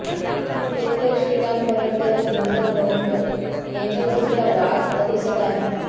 शेतकरी श्रीकांत भरणकर व दिनकर भरणकर यांच्या दृष्टीला वाघ पदिसत आहे